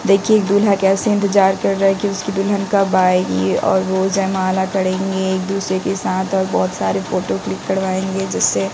देखिए दूल्हा कैसे इंतजार कर रहा है कि उसकी दुल्हन कब आएगी और वो एक दूसरे के साथ और बहोत सारे फोटो क्लिक करवाएंगे जैसे--